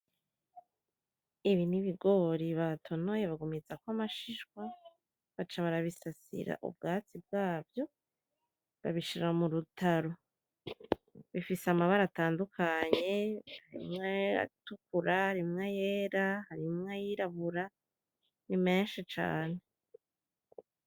Ibi nibigore batoneye bagumizako amashishwa baca barabisasira ubwatsi bwavyo babishira murutaro. Bifise amabara atandukanye, Harimo; ayatukura, harimo ayera, harimo ayirabura. Nimeshi cane.